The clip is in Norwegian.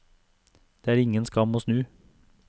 Det er ingen skam å snu.